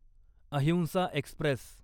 अहिंसा एक्स्प्रेस